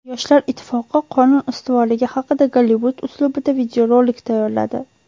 Yoshlar ittifoqi qonun ustuvorligi haqida Gollivud uslubida videorolik tayyorladi .